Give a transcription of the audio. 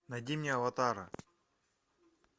найди мне аватара